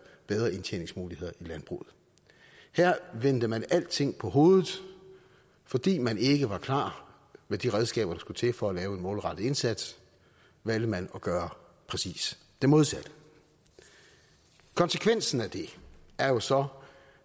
bedre indtjeningsmuligheder i landbruget her vendte man alting på hovedet fordi man ikke var klar med de redskaber der skulle til for at lave en målrettet indsats valgte man at gøre præcis det modsatte konsekvensen af det er jo så